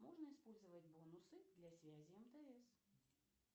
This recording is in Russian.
можно использовать бонусы для связи мтс